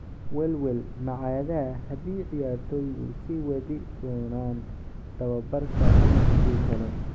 Welwel ma cadda haddii ciyaartoydu sii wadi doonaan tababarka ama haddii kale.